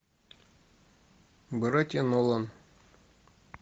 братья нолан